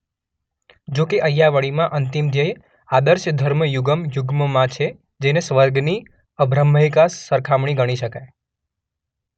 જો કે અય્યાવળીમાં અંતિમ ધ્યેય આદર્શ ધર્મ યુગમ યુગ્મ માં છે જેને સ્વર્ગની અબ્રાહ્મિક સરખામણી ગણી શકાય.